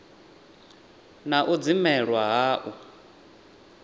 na u dzimelwa ha u